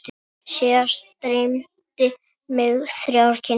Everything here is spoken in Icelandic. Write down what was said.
Síðast dreymdi mig þrjár kindur.